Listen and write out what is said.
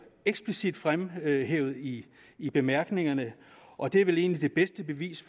eksplicit fremhævet i i bemærkningerne og det er vel egentlig det bedste bevis